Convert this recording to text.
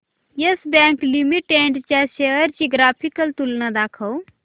yes Bank Limited च्या shares ची graphical तुलना दाखव